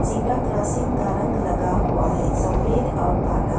zebra crossing का रंग लगा हुआ है सफेद और काला--